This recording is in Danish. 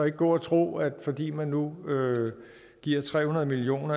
ikke gå og tro at fordi man nu giver tre hundrede million